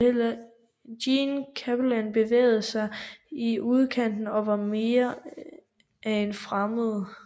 Jean Chapelain bevægede sig i udkanten og var mere af en fremmed